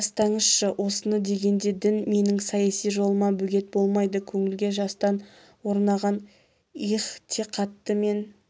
не тастаңызшы осыны дегенде дін менің саяси жолыма бөгет болмайды көңілге жастан орнаған иғтиқатты мен